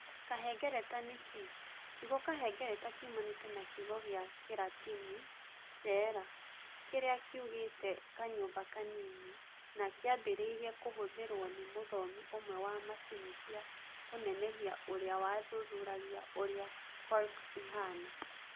kahengereta nĩ kĩĩ? Kiugo kahengereta kiumanĩte na kiugo gĩa Kĩratini "cella", kĩrĩa kiugĩte "kanyũmba kanini" na kĩambĩrĩirie kũhũthĩrũo nĩ mũthomi ũmwe wa macini cia kũnenehia ũrĩa wathuthuragia ũrĩa cork ĩhaana.